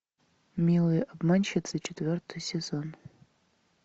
милые обманщицы четвертый сезон